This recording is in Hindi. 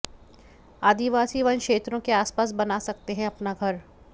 आदिवासी वनक्षेत्रों के आसपास बना सकते हैं अपना घर